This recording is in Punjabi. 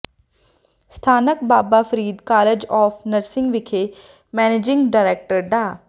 ਸਥਾਨਕ Baba Farid college of nursing ਵਿਖੇ ਮੈਨੇਜਿੰਗ ਡਾਇਰੈਕਟਰ ਡਾ